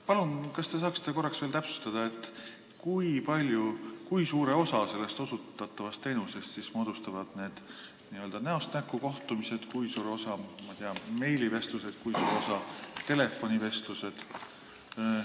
Palun, kas te saaksite veel täpsustada, kui suure osa sellest osutatavast teenusest moodustavad n-ö näost näkku kohtumised, kui suure osa, ma ei tea, meilivestlused, kui suure osa telefonivestlused?